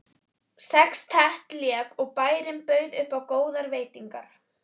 Sextett lék og bærinn bauð upp á góðar veitingar.